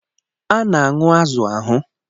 A na-aṅụ azụ̀ ahụ